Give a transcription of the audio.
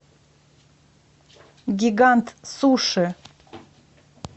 гигант суши